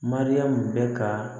Mariyamu bɛ ka